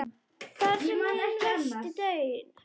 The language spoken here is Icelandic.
Þar var hinn versti daunn.